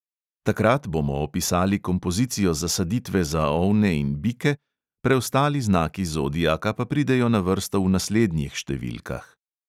Takrat bomo opisali kompozicijo zasaditve za ovne in bike, preostali znaki zodiaka pa pridejo na vrsto v naslednjih številkah.